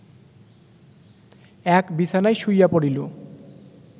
এক বিছানায় শুইয়া পড়িল